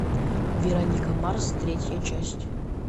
вероника марс третья часть